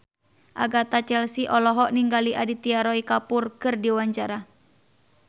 Agatha Chelsea olohok ningali Aditya Roy Kapoor keur diwawancara